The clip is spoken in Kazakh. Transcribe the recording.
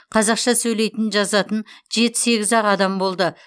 қазақша сөйлейтін жазатын жеті сегіз ақ адам болды